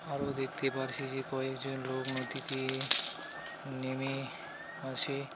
আরও দেখতে পারছি যে কয়েকজন লোক নদীতে নেমে আসে .